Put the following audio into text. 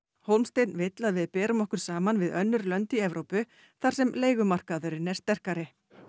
Hólmsteinn vill að við berum okkur saman við önnur lönd í Evrópu þar sem leigumarkaðurinn er sterkari